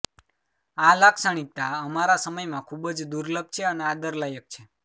આ લાક્ષણિકતા અમારા સમય માં ખૂબ જ દુર્લભ છે અને આદર લાયક છે